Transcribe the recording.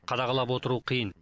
қадағалап отыру қиын